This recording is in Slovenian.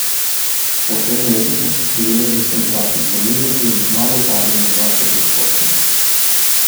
Po tem letu pa se število začne drastično nižati in kmalu pade na dvajset odstotkov.